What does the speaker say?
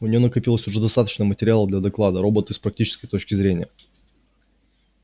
у неё накопилось уже достаточно материала для доклада роботы с практической точки зрения